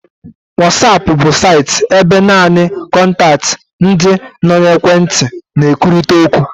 Whatsapp bu saịtị ebe naanị kọntaktị ndị nọ n'ekwentị na-ekwurịta okwu.